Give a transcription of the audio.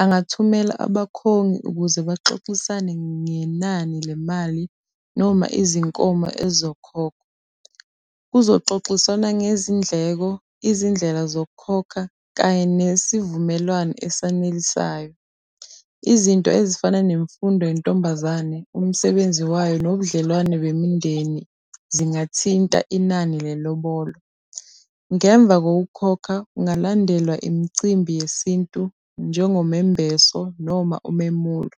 angathumela abakhongi ukuze baxoxisane ngenani le mali noma izinkomo ey'zokhokhwa. Kuzoxoxiswana ngezindleko, izindlela zokukhokha kanye nesivumelwane esanelisayo. Izinto ezifana nemfundo yentombazane, umsebenzi wayo nobudlelwane bemindeni zingathinta inani lelobolo. Ngemva kokukhokha, kungalandelwa imicimbi yesintu, njengomembeso noma umemulo.